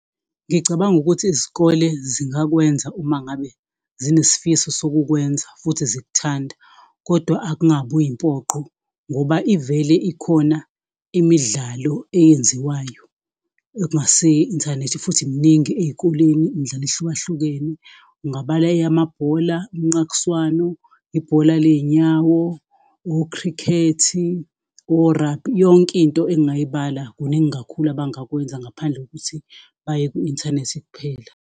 Ngicabanga ukuthi izikole zingakwenza uma ngabe zinesifiso sokukwenza futhi zikuthanda, kodwa akungabi yimpoqo ngoba ivele ikhona imidlalo eyenziwayo ekungase iye inthanethi futhi mningi ezikoleni imidlalo ehlukahlukene kungabala amabhola omnqakiswano, ibhola lezinyawo o-Cricket-i, o-rugby, yonkinto engingayibala, kuningi kakhulu abangakwenza ngaphandle kokuthi baye ku-inthanethi kuphela.